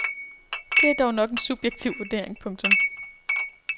Det er dog nok en subjektiv vurdering. punktum